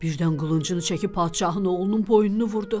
Birdən qılıncını çəkib padşahın oğlunun boynunu vurdu.